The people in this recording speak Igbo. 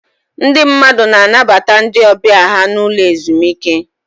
Ndị mmadụ na-anabata ndị ọbịa ha n'ụlọ ezumike.